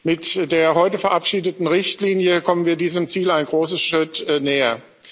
Mit der heute verabschiedeten Richtlinie kommen wir diesem Ziel einen großen Schritt näher.